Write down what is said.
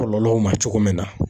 Kɔlɔlɔw ma cogo min na